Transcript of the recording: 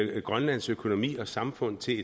grønlands økonomi og samfund til